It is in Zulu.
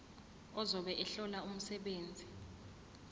ozobe ehlola umsebenzi